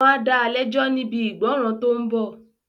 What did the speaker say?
Wọ́n á da lẹ́jọ́ níbi ìgbọ́nràn tó ń bọ̀